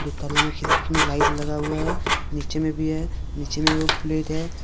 दू तल्ला मे खिड़की मे लाइट लगा हुआ है नीचे में भी है नीचे मे एक बुलैट है।